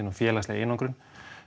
og félagsleg einangrun